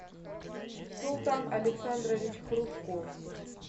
султан александрович хрушков